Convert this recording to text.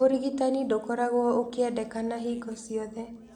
ũrigitani ndũkoragwo ũkĩendekana hingo ciothe.